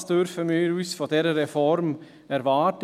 Was dürfen wir von dieser Reform erwarten?